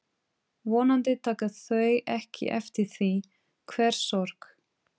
Vonandi taka þau ekki eftir því hve sorg